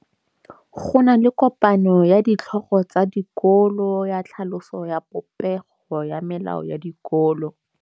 Go na le kopanô ya ditlhogo tsa dikolo ya tlhaloso ya popêgô ya melao ya dikolo.